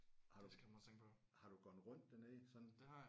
Har du har du gået rundt dernede sådan